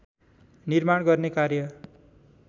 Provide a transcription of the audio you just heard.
निर्माण गर्ने कार्य